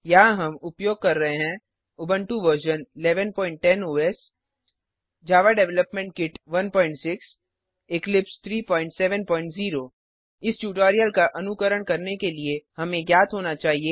यहाँ हम उपयोग कर रहे हैं Ubuntu version 1110 OS Java development kit 16 Eclipse 370 इस ट्यूटोरियल का अनुकरण करने के लिए हमें ज्ञात होना चाहिए